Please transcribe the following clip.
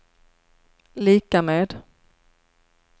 lika med